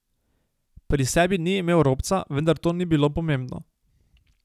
Pri sebi ni imel robca, vendar to ni bilo pomembno.